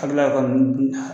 A' bɛ tila ka taa nunnu dun